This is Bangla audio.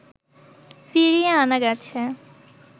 ফিরিয়ে আনা গেছে